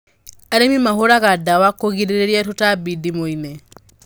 Arĩmi mahũraga ndawa kũgirĩrĩria tũtambi ndimũ-inĩ